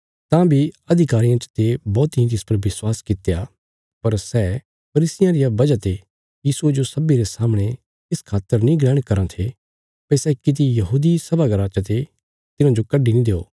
तां बी अधिकारियां चते बौहतीं तिस पर विश्वास कित्या पर सै फरीसियां रिया वजह ते यीशुये जो सब्बीं रे सामणे इस खातर नीं ग्रहण करां थे भई सै किति यहूदी सभा घर चते तिन्हाजो कड्डी नीं देओ